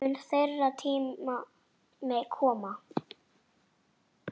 Mun þeirra tími koma?